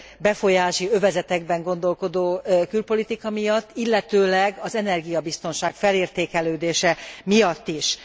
befolyási övezetekben gondolkodó külpolitika miatt, illetőleg az energiabiztonság felértékelődése miatt is.